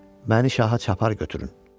Məni şaha çapar götürün.